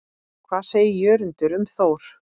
Hvað segir Jörundur um Þór?